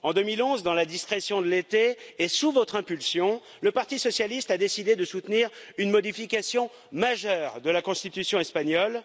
En 2011, dans la discrétion de l'été et sous votre impulsion, le Parti socialiste a décidé de soutenir une modification majeure de la constitution espagnole.